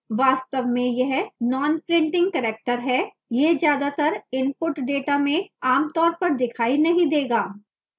वास्तव में यह nonprinting character है यह ज्यादातर इनपुट डेटा में आमतौर पर दिखाई नहीं देगा